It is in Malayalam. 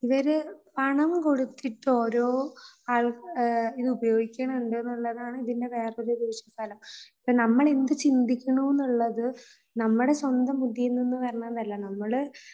ഇവര് പണം കൊടുത്തിട്ട് ഒരോ ആൾ, ഇത് ഉപയോഗിക്കുന്നുണ്ടെന്നുള്ളതാണ് ഇതിൻറെ വേറൊരു ദൂഷ്യഫലം. ഇപ്പോൾ നമ്മൾ എന്ത് ചിന്തിക്കുന്നു എന്നുള്ളത് നമ്മുടെ സ്വന്തം ബുദ്ധിയിൽ നിന്ന് വരുന്നതല്ല. നമ്മൾ